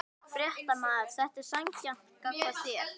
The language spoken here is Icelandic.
Fréttamaður: Er þetta sanngjarnt gagnvart þér?